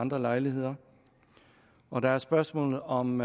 andre lejligheder og der er spørgsmålet om